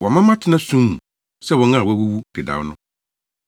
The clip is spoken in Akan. Wama matena sum mu sɛ wɔn a wɔawuwu dedaw no.